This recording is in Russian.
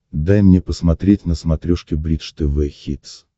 дай мне посмотреть на смотрешке бридж тв хитс